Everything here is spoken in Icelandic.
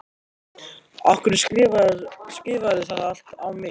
Af hverju skrifarðu það allt á mig?